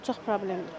çox problemdir.